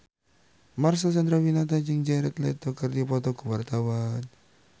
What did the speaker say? Marcel Chandrawinata jeung Jared Leto keur dipoto ku wartawan